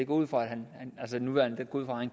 ud fra han